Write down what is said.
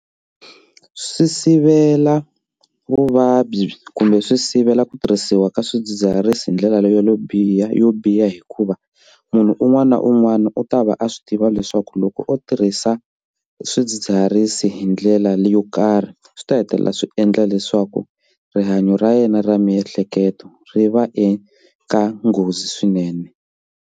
Swi sivela vuvabyi kumbe swi sivela ku tirhisiwa ka swidzidziharisi hi ndlela leyo biha yo biha hikuva munhu un'wana na un'wana u ta va a swi tiva leswaku loko u tirhisa swidzidziharisi hi ndlela yo karhi swi ta hetelela swi endla leswaku rihanyo ra yena ra miehleketo ri va eka nghozi swinene.